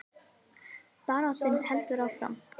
Baráttan heldur áfram